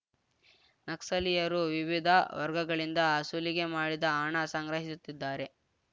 ನಕ್ಸಲೀಯರು ವಿವಿಧ ವರ್ಗಗಳಿಂದ ಸುಲಿಗೆ ಮಾಡಿದ ಹಣ ಸಂಗ್ರಹಿಸುತ್ತಿದ್ದಾರೆ